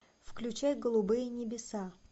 включай голубые небеса